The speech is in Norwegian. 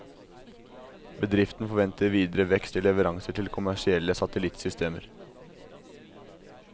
Bedriften forventer videre vekst i leveranser til kommersielle satellittsystemer.